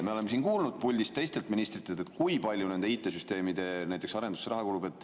Me oleme siin kuulnud puldist teistelt ministritelt, kui palju nende IT-süsteemide arendusse raha kulub.